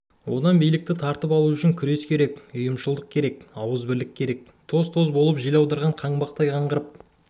одан билікті тартып алу үшін күрес керек ұйымшылдық ауызбірлік керек тоз-тоз болып жел аударған қаңбақтай қаңғырып